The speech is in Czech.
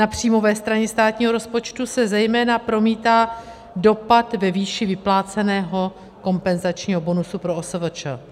Na příjmové straně státního rozpočtu se zejména promítá dopad ve výši vypláceného kompenzačního bonusu pro OSVČ.